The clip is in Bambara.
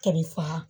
Kɛlɛ faa